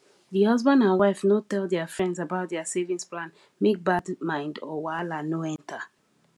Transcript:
the husband and wife no tell their friends about their savings plan make bad mind or wahala no enter